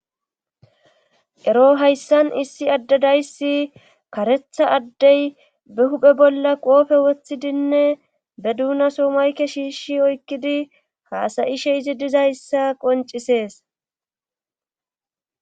Ero hayssan issi addedaysi karetha addey be huphe bolla qoofe wothidinne be duunaso mayke shiishi oykkidi haasayishe izi dizayssa qoncisees